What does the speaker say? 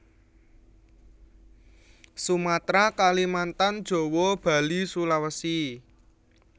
Sumatera Kalimantan Jawa Bali Sulawesi